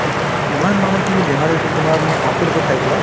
ইমান মানুহখিনি বেমাৰ হৈছে তোমাৰ মই আচৰিত হও চাই পেলায়